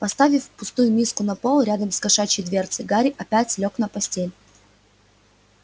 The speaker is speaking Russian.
поставив пустую миску на пол рядом с кошачьей дверцей гарри опять лёг на постель